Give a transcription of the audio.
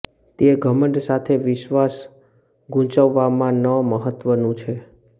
તે ઘમંડ સાથે વિશ્વાસ ગૂંચવવામાં ન મહત્વનું છે